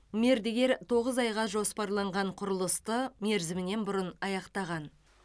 мердігер тоғыз айға жоспарланған құрылысты мерзімінен бұрын аяқтаған